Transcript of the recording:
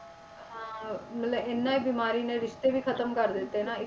ਹਾਂ ਮਤਲਬ ਇੰਨਾ ਬਿਮਾਰੀ ਨੇ ਰਿਸ਼ਤੇ ਵੀ ਖ਼ਤਮ ਕਰ ਦਿੱਤੇ ਨਾ,